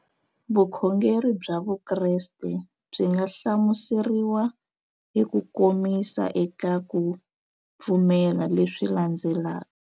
Vukhongeri bya Vukreste byi nga hlamuseriwa hi kukomisa eka ku pfumela leswi landzelaka.